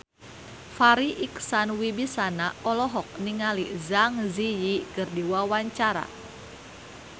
Farri Icksan Wibisana olohok ningali Zang Zi Yi keur diwawancara